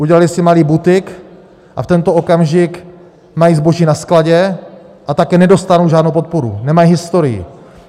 Udělali si malý butik a v tento okamžik mají zboží na skladě, a tak nedostanou žádnou podporu, nemají historii.